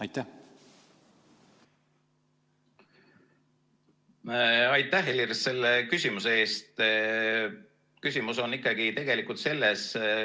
Aitäh, Helir, selle küsimuse eest!